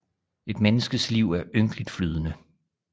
Et menneskets liv er ynkeligt flydende